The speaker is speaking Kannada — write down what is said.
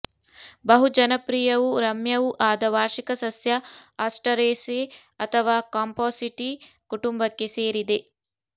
ಬಹುಜನಪ್ರಿಯವೂ ರಮ್ಯವೂ ಆದ ವಾರ್ಷಿಕ ಸಸ್ಯ ಆಸ್ಟರೇಸೇ ಅಥವಾ ಕಂಪಾಸಿಟೀ ಕುಟುಂಬಕ್ಕೆ ಸೇರಿದೆ